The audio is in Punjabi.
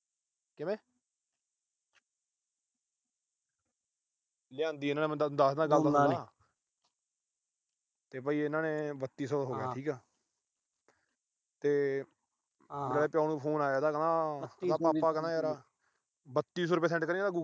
ਲਿਆਂਦੀ ਇਹਨਾਂ ਨੇ ਮੈਂ ਦੱਸਦਾ ਤੇ ਭਾਈ ਇਹਨਾਂ ਦੇ ਬੱਤੀ ਸੌ ਹੋ ਗਏ, ਠੀਕ ਆ। ਮੇਰੇ ਪਿਉ ਨੂੰ phone ਇਹਦਾ ਕਹਿੰਦਾ ਪਾਪਾ ਯਾਰ ਬੱਤੀ ਸੌ ਰੁਪਏ send ਕਰੀਓ।